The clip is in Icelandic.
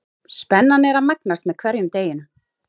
Spennan er að magnast með hverjum deginum.